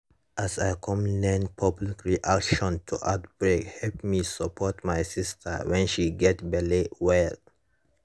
as i come learn public reaction to outbreake help me support my sister when she gets belle well